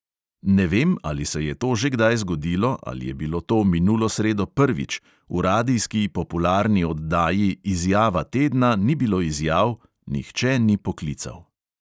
"Ne vem, ali se je to že kdaj zgodilo ali je bilo to minulo sredo prvič, v radijski popularni oddaji izjava tedna ni bilo izjav, nihče ni poklical!"